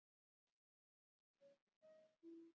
Hvernig ferðu eiginlega að þessu?